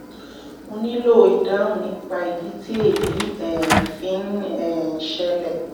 mo nílò ìdáhùn nípa ìdí tí èyí um fi ń um ṣẹlẹ̀